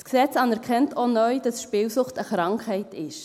Das Gesetz anerkennt auch neu, dass Spielsucht eine Krankheit ist.